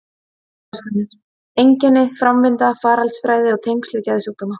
Átraskanir: einkenni, framvinda, faraldsfræði og tengsl við geðsjúkdóma.